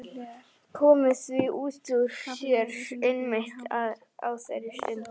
Jason, hvaða dagur er í dag?